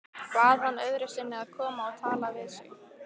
Bað hann öðru sinni að koma og tala við sig.